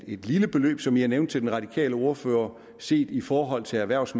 et lille beløb som jeg nævnte til den radikale ordfører set i forhold til erhvervs